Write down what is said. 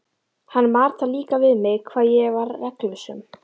Hann mat það líka við mig hvað ég var reglusöm.